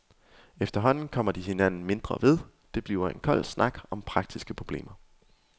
Efterhånden kommer de hinanden mindre ved, det bliver en kold snak om praktiske problemer.